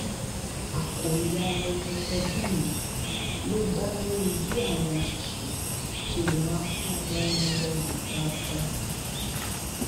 àkòrí ayẹyẹ tọdún yìí ló dá lórí bí àwọn òṣìṣẹ ṣe lè máa fún ọmọ wọn lọyàn dáadáa